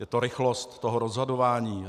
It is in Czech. Je to rychlost toho rozhodování.